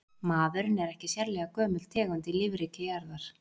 maðurinn er ekki sérlega gömul tegund í lífríki jarðar